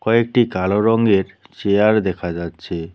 কয়েকটি কালো রঙ্গের চেয়ার দেখা যাচ্ছে।